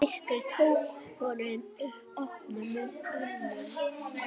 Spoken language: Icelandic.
Myrkrið tók honum opnum örmum.